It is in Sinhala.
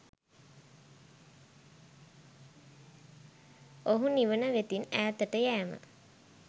ඔහු නිවන වෙතින් ඈතට යෑම